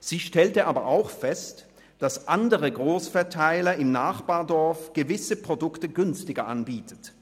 Sie stellte aber auch fest, dass andere Grossverteiler im Nachbardorf gewisse Produkte günstiger anbieten.